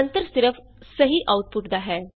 ਅੰਤਰ ਸਿਰਫ ਸਹੀ ਆਉਟਪੁਟ ਦਾ ਹੈ